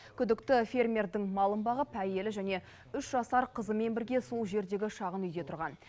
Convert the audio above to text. күдікті фермердің малын бағып әйелі және үш жасар қызымен бірге сол жердегі шағын үйде тұрған